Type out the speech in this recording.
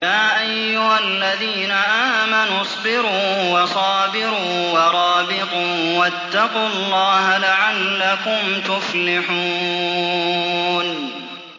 يَا أَيُّهَا الَّذِينَ آمَنُوا اصْبِرُوا وَصَابِرُوا وَرَابِطُوا وَاتَّقُوا اللَّهَ لَعَلَّكُمْ تُفْلِحُونَ